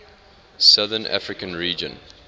southern african region